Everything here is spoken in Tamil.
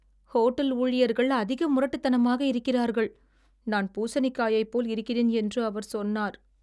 ஹோட்டல் ஊழியர்கள் அதிக முரட்டுத்தனமாக இருக்கிறார்கள். நான் பூசணிக்காயைப் போல் இருக்கிறேன் என்று அவர் சொன்னார்.